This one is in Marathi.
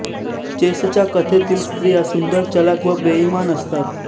चेसच्या कथेतील स्त्रिया सुंदर चलाख व बेईमान असतात